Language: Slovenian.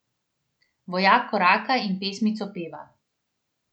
Vojak koraka in pesmico peva!